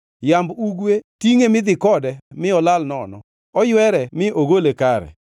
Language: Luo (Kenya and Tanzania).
Yamb ugwe tingʼe midhi kode, mi olal nono; oywere mi ogole kare.